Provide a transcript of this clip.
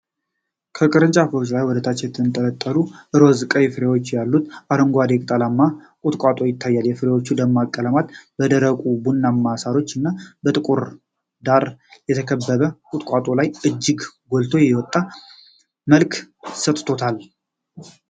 ከቅርንጫፎች ላይ ወደታች የተንጠለጠሉ ሮዝ-ቀይ ፍሬዎች ያሉት አረንጓዴ ቅጠላማ ቁጥቋጦ ይታያል። የፍሬዎቹ ደማቅ ቀለም በደረቁ ቡናማ ሳሮች እና በጥቁር ዳራ የተከበበውን ቁጥቋጦ ላይ እጅግ ጎልቶ የወጣ መልክ ሰጥቶታል።